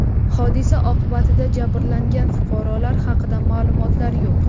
Hodisa oqibatida jabrlangan fuqarolar haqida ma’lumotlar yo‘q.